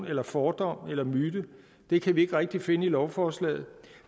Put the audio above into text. eller fordom eller myte det kan vi ikke rigtig finde i lovforslaget